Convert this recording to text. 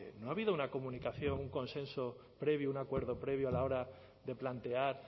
no ha habido una comunicación un consenso previo un acuerdo previo a la hora de plantear